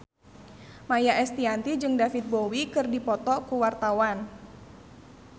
Maia Estianty jeung David Bowie keur dipoto ku wartawan